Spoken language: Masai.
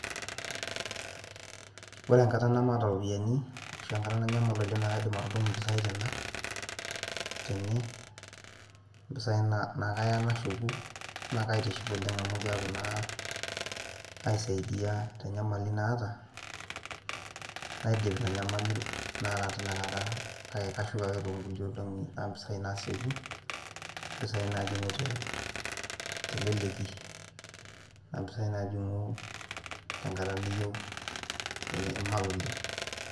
Ore enkata nemaata oropiyiani ashuu enkata nanyamal oleng naa kaidim atudumu impisai tena tene mpisai naa kaya nashuku naa kaitiship oleng amu kaaku naa aisaiidia tenyamali naata naidip ina nyamali tinakata kake kashuk ake toonkulie olong'i amu imbisai naasieku mpisai naajing'u teleleki naa impisai naajing'u tenkata niyieu inyamal oleng.